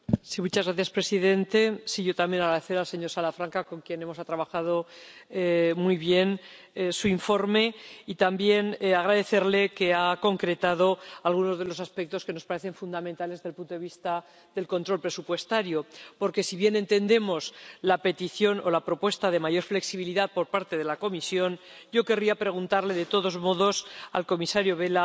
Señor presidente, yo también quiero agradecer al señor Salafranca, con quien hemos trabajado muy bien, su informe, y también agradecerle que haya concretado algunos de los aspectos que nos parecen fundamentales desde el punto de vista del control presupuestario. Porque, si bien entendemos la petición o la propuesta de mayor flexibilidad por parte de la Comisión, yo querría preguntarle de todos modos al comisario Vella